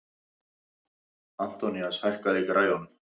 Antoníus, hækkaðu í græjunum.